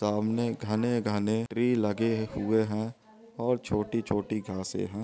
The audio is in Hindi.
रोशनी आ रही सामने खाने गाने स्त्री लगे रोशनियां--